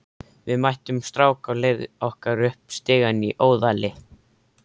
Við mættum strák á leið okkar upp stigann í Óðali.